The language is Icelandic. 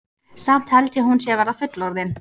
Samt held ég að hún sé að verða fullorðin.